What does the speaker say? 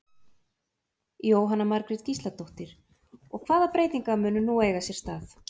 Jóhanna Margrét Gísladóttir: Og, hvaða breytingar munu nú eiga sér stað?